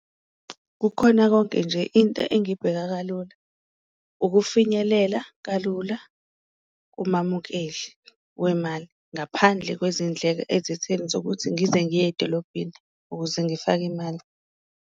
Kukhona konke nje into engibheka kalula ukufinyelela kalula kumamukeli wemali, ngaphandle kwezindleko ezitheni zokuthi ngize ngiye edolobheni ukuze ngifake imali.